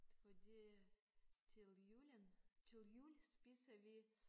Fordi til julen til jul spiser vi